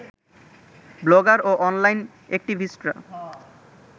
blogger ও online অ্যাক্টিভিস্টরা